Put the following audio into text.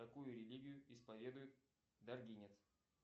какую религию исповедует даргинец